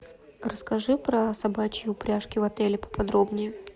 расскажи про собачьи упряжки в отеле поподробнее